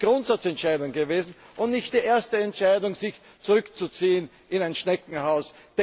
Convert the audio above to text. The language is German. Es ist eine Grundsatzentscheidung gewesen und nicht die erste Entscheidung, sich zurückzuziehen in ein Schneckenhaus.